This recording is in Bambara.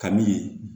Kabi